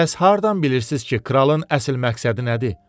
Bəs hardan bilirsiz ki, kralın əsl məqsədi nədir?